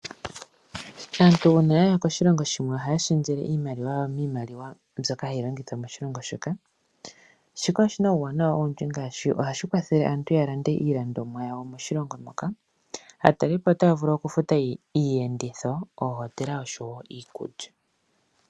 Aantu uuna yaya koshilongo shimwe ohaya shendjele iimaliwa yawo miimaliwa mbyoka hayi longithwa moshilongo shoka shika oshi na uuwanawa owundji ngaashi oha shi kwathele aantu ya lande iilandomwa yawo moshilongo moka naatalelipo otaya vulu okufuta iiyenditho, oohotela oshowo iikulya.